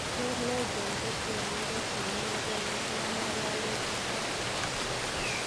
John Legend kotienindet ne negeen negiiyan ngololutichoton.